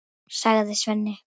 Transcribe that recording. sagði Svenni.